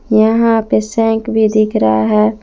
यहां पे सेंक भी दिख रहा है।